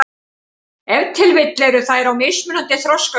Ef til vill eru þær á mismunandi þroskaskeiði.